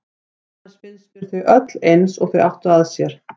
Annars finnst mér þau öll eins og þau áttu að sér.